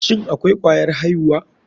Shin akwai kwayar aihuwa.